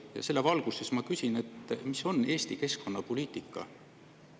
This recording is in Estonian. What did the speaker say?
Aga selle valguses ma küsin: milline on Eesti keskkonnapoliitika?